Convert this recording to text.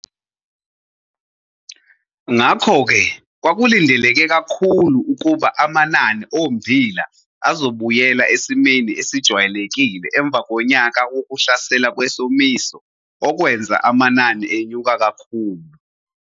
Ngakho-ke kwakulindeleke kakhulu ukuba amanani ommbila azobuyela esimeni esejwayelekile emva konyaka wokuhlasela kwesomiso okwenza amanani enyuka kakhulu.